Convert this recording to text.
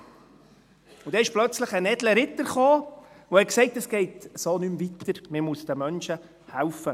Und dann kam plötzlich ein edler Ritter, der sagte, es gehe so nicht mehr weiter, man müsse den Menschen helfen.